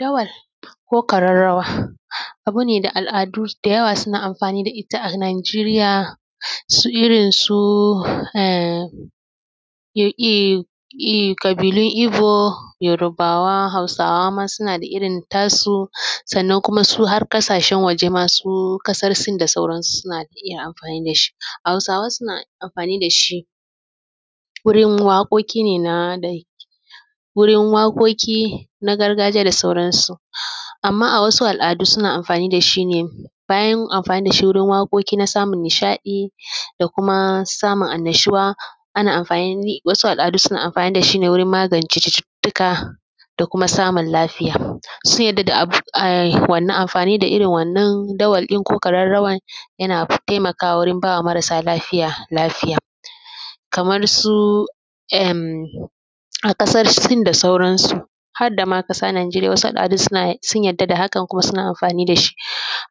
Dawar ko ƙararrawa abu ne da al’adu da yawa suna amfani da ita a Nijeriya su irin su emm i i i ƙabilun Ibo, Yorbawa, Hausawa ma suna da irin tasu sannan kuma su har ƙasashen waje ma su ƙasar Sin da sauran suna iya amfani da shi. Hausawa suna amfani da shi wurin waƙoƙi ne na ɗai, wurin waƙoƙi na gargajiya da sauran su. Amma a wasu al’adu suna amfani da shi ne bayan amfani da shi wurin waƙoƙi na samun nishaɗi da kuma samun annashuwa ana amfanni wasu al’adu suna amfani da shi ne wurin magance cututtuka da kuma samun lafiya, sun yarda da wannan amfani da irin wannan dawar ɗin ko ƙararrawar yana taimakawa wurin bawa marasa lafiya lafiya. kamar su emm a ƙasar Sin da sauran su har da ma ƙasar Najeriya wasu al’adun sun yarda da hakan kuma suna amfani da shi.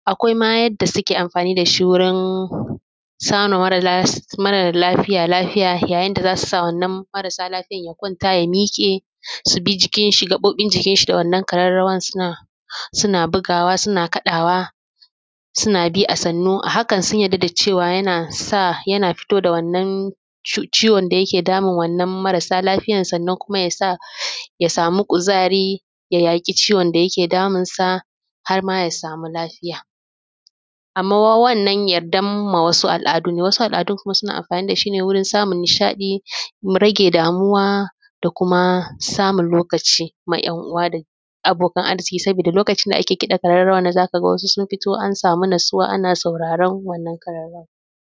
Akwai ma yadda suke amfani da shi wurin samarwa mara lafiya lafiya yayin da za su wannan marasa lafiya ya kwanta ya miƙe su bi jikin shi gaɓoɓin jikin shi da wannan ƙararrawar suna suna bugawa suna kaɗawa suna bi a sannu. A hakan sun yarda da cewa yana sa yana fito da wannan ciwon da yake damun wannan marasa lafiyar sannan ya sa ya samu kuzari ya yaƙi ciwon da yike damun sa har ma ya samu lafiya. Amma wannan yardan ma wasu al’adu ne, wasu al’adun suna amfani da shi ne wurin samun nishaɗi, rage damuwa da kuma samun lokaci ma ‘yan uwa da abokan arziƙi sabida lokacin da ake kiɗan ƙararrawa nan zaka ga wasu sun fito an samu natsuwa ana sauraran wannan ƙararrawan.